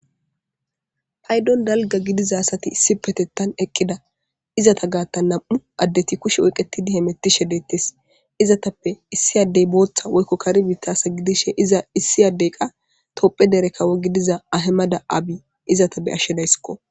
paydon dalga gidiza asati issi petettan eqqida izata gaatta nam7u addeti kushe oyqetidi he mettishe dettes izatappe issi addey booththa woykko kari bitasa gidishe iza issi addey qa topphe dere kawo gidiza ahemada abi izatap be ashshedaysskko